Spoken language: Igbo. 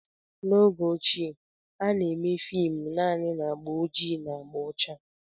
N'oge ochie, a na-eme fim naanị na agba ojii na agba ọcha